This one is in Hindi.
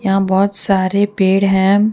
यहां बहुत सारे पेड़ हैं।